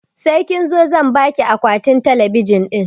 Sai kin zo zan baki akwatin talabijin ɗin